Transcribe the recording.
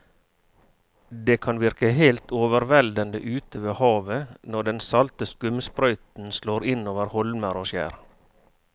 Det kan virke helt overveldende ute ved havet når den salte skumsprøyten slår innover holmer og skjær.